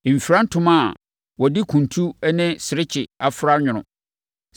Mfira ntoma a wɔde kuntu ne serekye afra anwono.